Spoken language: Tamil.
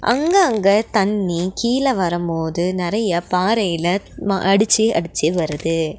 அங்க அங்க தண்ணி கீழ வரம்போது நெறைய பாறையில ம அடிச்சு அடிச்சு வருது.